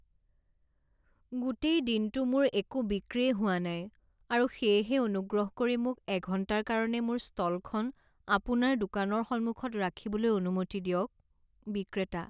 গোটেই দিনটো মোৰ একো বিক্ৰীয়েই হোৱা নাই আৰু সেয়েহে অনুগ্ৰহ কৰি মোক এঘণ্টাৰ কাৰণে মোৰ ষ্টলখন আপোনাৰ দোকানৰ সন্মুখত ৰাখিবলৈ অনুমতি দিয়ক। বিক্ৰেতা